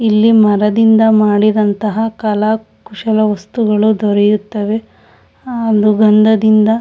ಇಲ್ಲಿ ಮರದಿಂದ ಮಾಡಿದಂತಹ ಕಲಾ ಕುಶಲ ವಸ್ತುಗಳು ದೊರೆಯುತ್ತದೆ ಅದು ಗಂಧದಿಂದ--